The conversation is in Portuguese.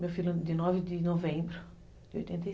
Meu filho de nove de novembro de oitenta e